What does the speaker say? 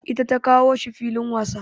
Ita ta kawo shi filin wasa.